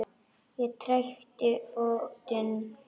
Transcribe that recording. Ég trekkti fóninn upp.